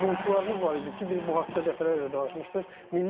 Valeybolçularımız var idi ki, biz bu haqda dəfələrlə danışmışdıq.